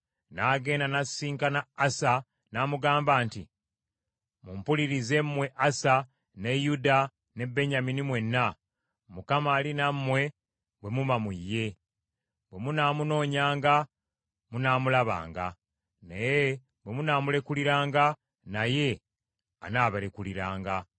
n’agenda n’asisinkana Asa n’amugamba nti, “Mumpulirize, mmwe Asa, ne Yuda ne Benyamini mwenna, Mukama ali nammwe bwe muba mu ye. Bwe munaamunoonyanga, munaamulabanga, naye bwe munaamulekuliranga naye anaabalekuliranga.